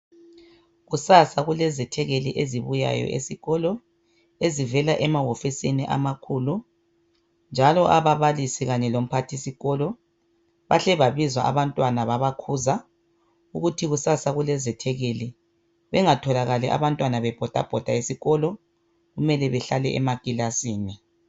Kusasa kulezethekeli ezibuyayo esikolo ezivela emahofisini amakhulu njalo ababalisi kanye lomphathisikolo bahle babiza abantwana babakhuza ukuthi kusasa kulezethekeli bengatholakali abantwana bebhodabhoda esikolo kumele behlale emakilasini.